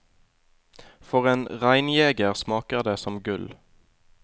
For en reinjeger smaker det som gull.